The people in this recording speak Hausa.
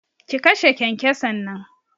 Ki kashe kyankyason nan!